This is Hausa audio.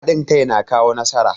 Hadin kai na kawo nasara.